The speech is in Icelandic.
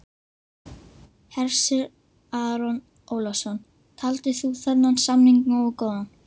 Hersir Aron Ólafsson: Taldir þú þennan samning nógu góðan?